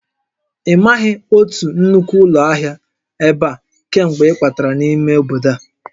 Ị maghị otu nnukwu ụlọ ahịa ebe a kemgbe ị kwatara n'ime obodo a?